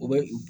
O bɛ